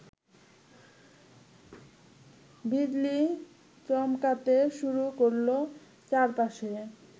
বিজলি চমকাতে শুরু করল চারপাশে